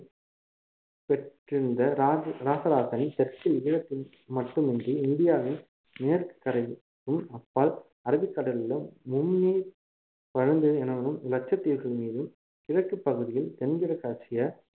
பெற்றிருந்த ராச~ ராசராசன் தெற்கில் ஈழத்தின்மீது மட்டுமின்றி இந்தியாவின் மேற்கு கரைக்கும் அப்பால் அரபிக் கடலிலும் முந்நீர் பழந்தீவு எனவும் லட்சத்தீவுகள் மீதும் கிழக்குப் பகுதியில் தென்கிழக்காசிய